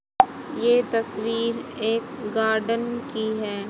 ये तस्वीर एक गार्डन की है।